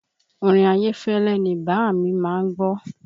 Orin Ayefele ni bàámi má ń gbọ́